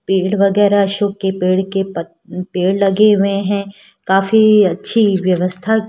पेड़ वगैरा अशोक के पेड़ के प पेड़ लगे हुए हैं काफी अच्छी व्यवस्था--